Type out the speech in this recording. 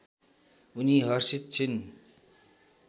उनी हर्षित छिन्